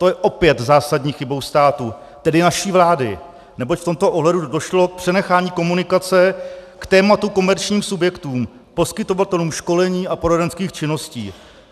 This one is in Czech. To je opět zásadní chybou státu, tedy naší vlády, neboť v tomto ohledu došlo k přenechání komunikace k tématu komerčním subjektům, poskytovatelům školení a poradenských činností.